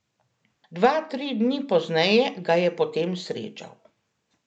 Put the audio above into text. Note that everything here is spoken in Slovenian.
Dva, tri dni pozneje ga je potem srečal.